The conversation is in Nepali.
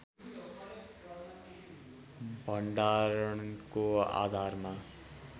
भण्डारणको आधारमा